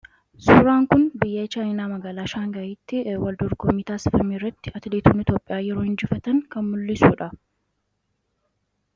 Suuraan kun biyya Chaayinaa magaalaa Shaangaayitti wal dorgommii taasifame irratti atileetiin Itoophiyaa yeroo injifatu kan mul'isudha.